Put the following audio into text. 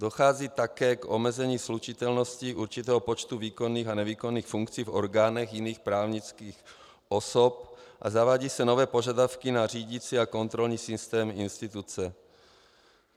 Dochází také k omezení slučitelnosti určitého počtu výkonných a nevýkonných funkcí v orgánech jiných právnických osob a zavádějí se nové požadavky na řídicí a kontrolní systém instituce.